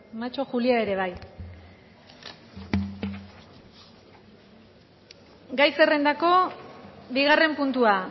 macho julia ere bai gai zerrendako bigarren puntua